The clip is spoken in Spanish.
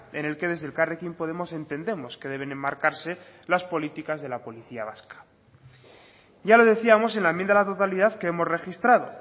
en el que desde elkarrekin podemos entendemos que deben enmarcarse las políticas de la policía vasca ya lo decíamos en la enmienda a la totalidad que hemos registrado